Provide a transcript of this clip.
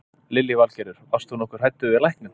Lillý Valgerður: Varst þú nokkuð hræddur við lækninn?